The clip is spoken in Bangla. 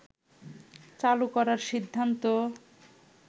চালু করার সিদ্ধান্ত